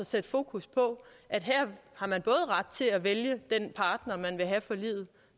sætte fokus på at her har man både ret til at vælge den partner man vil have for livet